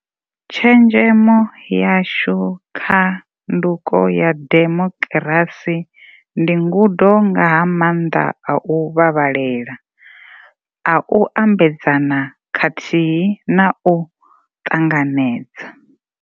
Tshenzhemo yashu kha tsha nduko ya demokirasi ndi ngudo nga ha maanḓa a u vhavhalela, a u ambedzana khathihi na a u ṱanganedza.